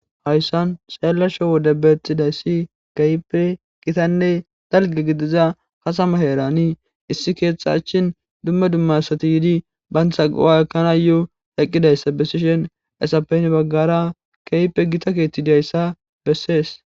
Hayssan xeellasho wode betidayssi keehipe qitanne dalgge gidiza katama heerani issi keeththa achin dumma dumma asati yiidi bantha go7a ekanay eqqidayssa besishen hayssappe hini baggara keehippe gita keeththi diyayssa bessees.